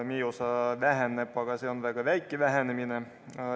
Meie osa väheneb, aga see on väga väike vähenemine.